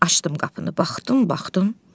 Açdım qapını baxdım, baxdım.